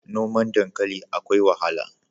Noman dankali akwai wahala.